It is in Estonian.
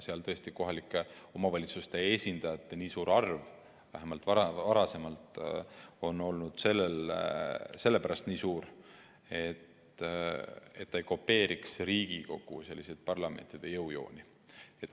Seal on tõesti kohalike omavalitsuste esindajate arv, vähemalt varasemalt, olnud sellepärast nii suur, et ta ei kopeeriks parlamendi jõujooni.